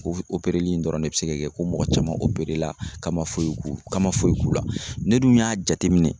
O opereli in dɔrɔn de be se ka kɛ ko mɔgɔ caman operela ka ma foyi k'u ka ma foyi k'u la ne dun y'a jateminɛ